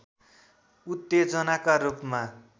उत्तेजनाका रूपमा